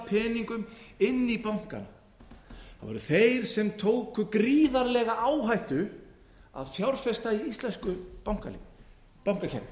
peningum inn í bankana það voru þeir sem tóku gríðarlega áhættu að fjárfesta í íslensku bankakerfi